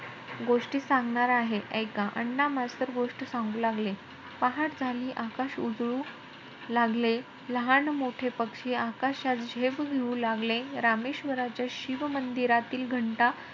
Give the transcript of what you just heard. गोष्टी सांगणार आहे. एका. अण्णा मास्तर गोष्ट सांगू लागले. पहाट झाली आकाश उजळू लागले. लहान मोठे पक्षी आकाशात झेप घेऊ लागले. रामेश्वराच्या शिव मंदिरातील घंटा,